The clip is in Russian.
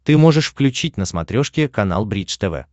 ты можешь включить на смотрешке канал бридж тв